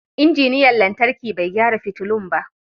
Injiniyan lantarki bai gyara fitulun ba.